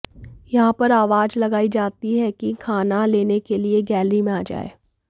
यहां पर आवाज लगाई जाती है कि खाना लेने के लिए गैलरी में आ जाएं